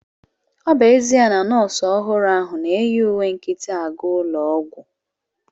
Ọ bụ ezia na nọọsụ ọhụrụ ahu na-eyi uwe nkịtị aga ụlọ ọgwụ